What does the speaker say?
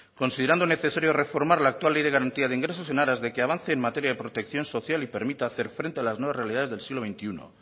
considerando necesario reformar la actual ley de garantía de ingresos en aras de que avance en materia de protección social y permite hacer frente a las nuevas realidades del siglo veintiuno